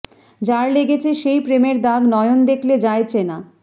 যার লেগেছে সেই প্রেমের দাগ নয়ন দেখলে যায় চেনা